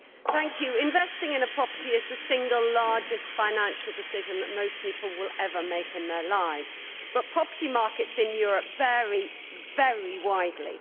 Mr President, investing in a property is the single largest financial decision that most people will ever make in their lives, but property markets in Europe vary very widely.